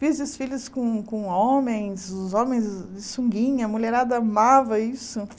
Fiz desfiles com com homens, os homens de sunguinha, a mulherada amava isso.